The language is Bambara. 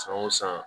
San o san